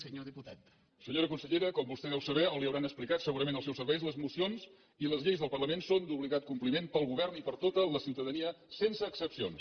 senyora consellera com vostè deu saber o li deuen haver explicat segurament els seus serveis les mocions i les lleis del parlament són d’obligat compliment pel govern i per tota la ciutadania sense excepcions